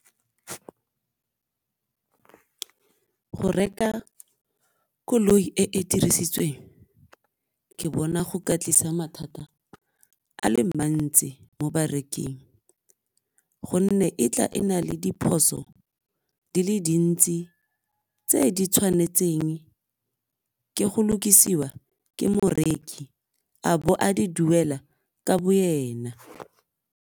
Go reka koloi e e dirisitsweng ke bona go ka tlisa mathata a le mantsi mo bareking gonne e tla e na le diphoso di le dintsi tse di tshwanetseng ke go lokisiwa ke moreki a bo a di duela ka bo ena.